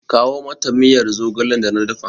Kawo mata miyar zogalen da na dafa!